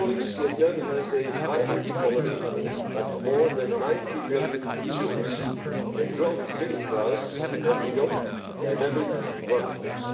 Vietnam has a vibrant economy of more than 90 million consumers, a growing middle class and a young, dynamic workforce.